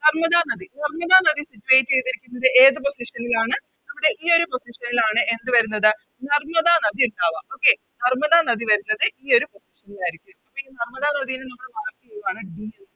നർമ്മദ നദി നർമ്മദ നദി Situate ചെയ്തിരിക്കുന്നത് ഏത് Position ൽ ആണ് നമ്മുടെ ഈയൊരു Position ൽ ആണ് എന്ത് വരുന്നത് നർമ്മദ നദി ഇണ്ടവ Okay നർമ്മദ നദി വരുന്നത് ഈയൊരു Position ൽ ആയിരിക്കും ഇപ്പോയി നർമ്മദ നദിനെ നമ്മള് Mark ചെയ്യുവാണ് D